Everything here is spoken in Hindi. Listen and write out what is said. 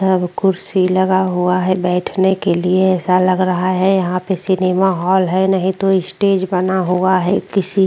सब कुर्सी लगा हुआ है बैठने के लिए ऐसा लग रहा है यहाँ पे सिनेमा हॉल है नहीं तो स्टेज बना हुआ है किसी --